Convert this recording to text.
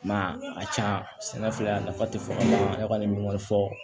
I m'a ye a can sɛnɛ filɛ a nafa te fɔ ya kɔni min b'a fɔ